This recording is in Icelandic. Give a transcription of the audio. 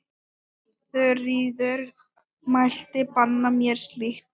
Þuríður mælti banna mér slíkt.